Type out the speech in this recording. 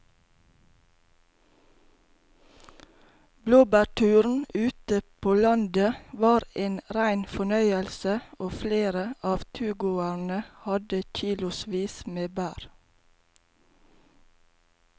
Blåbærturen ute på landet var en rein fornøyelse og flere av turgåerene hadde kilosvis med bær.